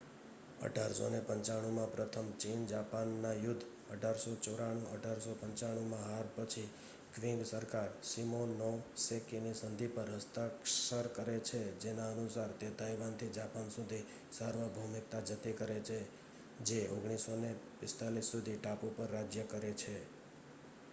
1895માં પ્રથમ ચીન-જાપાનના યુદ્ધ 1894-1895માં હાર પછી ક્વિંગ સરકાર શિમોનોસેકીની સંધિ પર હસ્તાક્ષર કરે છે જેના અનુસાર તે તાઇવાનથી જાપાન સુધી સાર્વભૌમિકતા જતી કરે છે જે 1945 સુધી ટાપુ પર રાજ્ય કરે છે